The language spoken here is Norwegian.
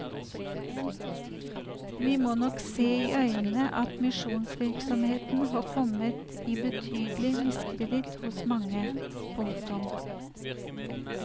Vi må nok se i øynene at misjonsvirksomheten har kommet i betydelig miskreditt hos mange. punktum